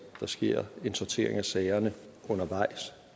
der sker en sortering af sagerne undervejs